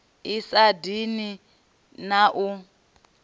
i sa dini na i